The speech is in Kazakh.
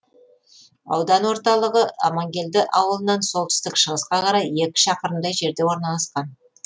аудан ортылығы амангелді ауылынан солтүстік шығысқа қарай екі шақырымдай жерде орналасқан